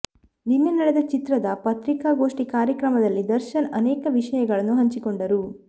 ನಿನ್ನೆ ನಡೆದ ಚಿತ್ರದ ಪತ್ರಿಕಾಗೋಷ್ಠಿ ಕಾರ್ಯಕ್ರಮದಲ್ಲಿ ದರ್ಶನ್ ಅನೇಕ ವಿಷಯಗಳನ್ನು ಹಂಚಿಕೊಂಡರು